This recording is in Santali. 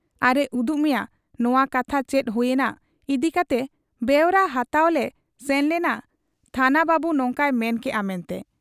ᱟᱨᱮ ᱩᱫᱩᱜ ᱢᱮᱭᱟ ᱱᱚᱶᱟ ᱠᱟᱛᱷᱟ ᱪᱮᱫ ᱦᱩᱭ ᱮᱱᱟ ᱤᱫᱤ ᱠᱟᱛᱮ ᱵᱮᱣᱨᱟ ᱦᱟᱛᱟᱣᱞᱮ ᱥᱮᱱ ᱞᱮᱱᱟ ᱛᱦᱟᱱᱟ ᱵᱟᱹᱵᱩ ᱱᱚᱝᱠᱟᱭ ᱢᱮᱱ ᱠᱮᱜ ᱟ ᱢᱮᱱᱛᱮ ᱾